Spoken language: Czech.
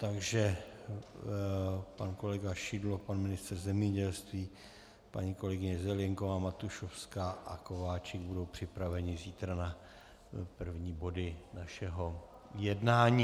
Takže pan kolega Šidlo, pan ministr zemědělství, paní kolegyně Zelienková, Matušovská a Kováčik budou připraveni zítra na první body našeho jednání.